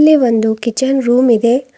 ಇಲ್ಲಿ ಒಂದು kitchen room ಇದೆ.